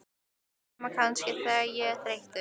Nema kannski, þegar ég er þreyttur.